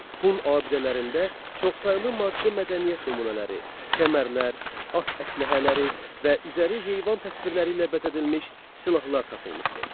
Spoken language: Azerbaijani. Hun abidələrində çoxsaylı maddi mədəniyyət nümunələri, kəmərlər, at əsləhələri və üzəri heyvan təsvirləri ilə bəzədilmiş silahlar tapılmışdır.